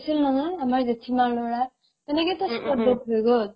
হৈছিল নহয় আমাৰ জেঠীমাৰ ল'ৰাৰ তেনেকেতো spot death হৈ গ'ল ।